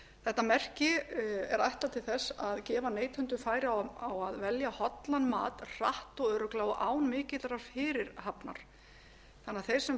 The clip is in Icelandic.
þetta merki er ætlað til þess að gefa neytendum færi á að velja hollan mat hratt og örugglega og án mikillar fyrirhafnar þannig að þeir sem